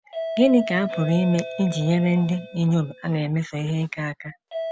GỊNỊ ka a pụrụ ime iji nyere ndị inyom a na - emeso ihe ike aka?